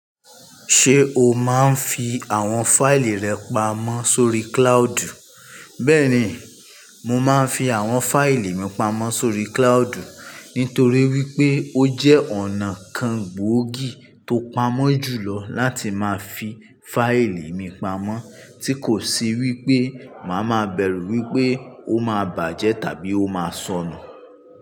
Ṣé o máa ń fi àwọn fáìlì rẹ pamọ́ sórí cloudu? Bẹ́ẹ̀ni, mo máa ń fi àwọn fáìlì mi pamọ́ sórí cloudu Itorí wípé ó jẹ́ ọ̀nà kan gbóògì tó pamọ́ jùlọ láti máa fi fáìlì mi pamọ́ tí kò sì wípé màá máa bẹ̀rù wípé ó máa bàjẹ́ tàbí ó máa sọnù.